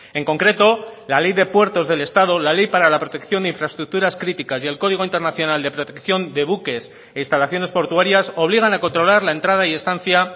en concreto la ley de puertos del estado la ley para la protección de infraestructuras críticas y el código internacional de protección de buques e instalaciones portuarias obligan a controlar la entrada y estancia